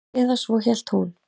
Eða svo hélt hún.